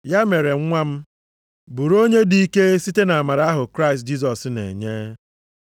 Ya mere, nwa m, bụrụ onye dị ike site nʼamara ahụ Kraịst Jisọs na-enye.